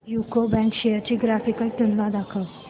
UCO bank shares ची graphical तुलना दाखव